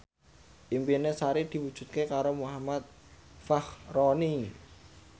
impine Sari diwujudke karo Muhammad Fachroni